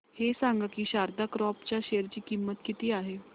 हे सांगा की शारदा क्रॉप च्या शेअर ची किंमत किती आहे